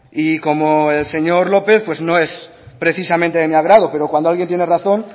y como el señor lópez pues no es precisamente de mi agrado pero cuando alguien tiene razón